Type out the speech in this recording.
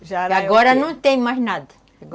E agora não tem mais nada.